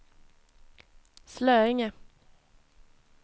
Slöinge